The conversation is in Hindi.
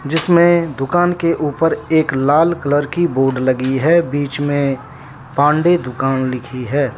इसमें दुकान के ऊपर एक लाल कलर की बोर्ड लगी है बीच में पांडे दुकान लिखी है।